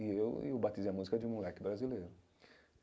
E eu e eu batizei a música de um moleque brasileiro.